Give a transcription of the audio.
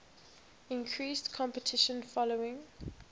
increased competition following